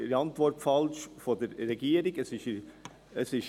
Die Antwort der Regierung ist falsch;